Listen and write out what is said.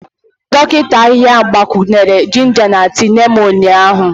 Dọkịta ahịhịa gbakwunyere jinja na tii Neem ụnyahụ.